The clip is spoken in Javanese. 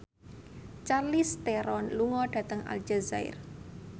Charlize Theron lunga dhateng Aljazair